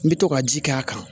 N bɛ to ka ji kɛ a kan